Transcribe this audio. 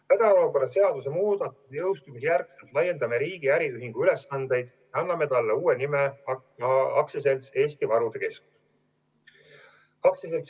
Pärast hädaolukorra seaduse muudatuste jõustumist laiendame riigi äriühingu ülesandeid ja anname talle uue nime AS Eesti Varude Keskus.